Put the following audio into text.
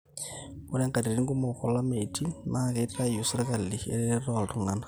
ore inkatiti kumok olameitin naa keitayu sirkali eretoto toltung'anak